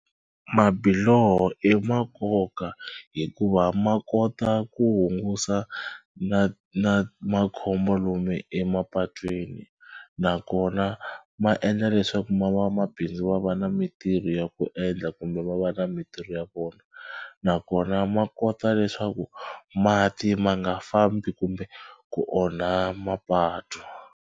Mabiloho i ma nkoka hikuva ma kota ku hungusa na na makhombo lomu emapatwini nakona ma endla leswaku ma va mabindzu va va na mitirho ya ku endla kumbe va va na mitirho ya vona nakona ma kota leswaku mati ma nga fambi kumbe ku onha mapatu.